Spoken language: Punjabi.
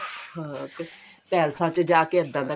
ਹਾਂ ਪੈਲਸਾਂ ਜਾਕੇ ਇੱਦਾਂ ਦਾ